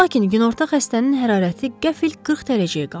Lakin günorta xəstənin hərarəti qəfil 40 dərəcəyə qalxdı.